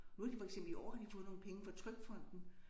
Nu har de for eksempel i år har de fået nogle penge fra TrygFonden